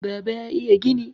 baba ya iya gini!